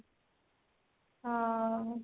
ହଁ